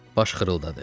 Baş xırıldadı.